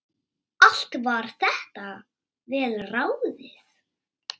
Allt var þetta vel ráðið.